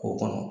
K'o kɔnɔ